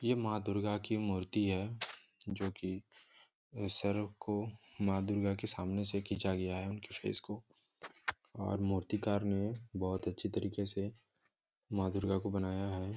ये माॅं दुर्गा की मूर्ति है जो कि सर को माॅं दुर्गा के सामने से खिचा गया है फेस को और मूर्तिकार ने बहुत अच्छी तरीके से माॅं दुर्गा को बनाया है।